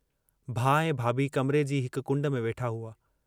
भाउ ऐं भाभी कमरे जी हिक कुंड में वेठा हुआ।